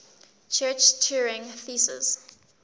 church turing thesis